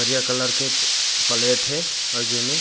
करिया कलर के प्लेट हे अ जेमे--